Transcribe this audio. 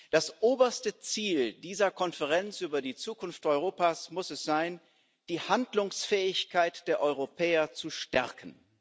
Das oberste Ziel dieser Konferenz über die Zukunft Europas muss es sein, die Handlungsfähigkeit der Europäer zu stärken.